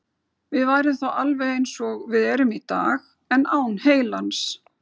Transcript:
Við værum þá alveg eins og við erum í dag, en án heilans.